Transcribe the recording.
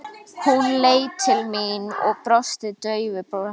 Hún leit til mín og brosti daufu brosi.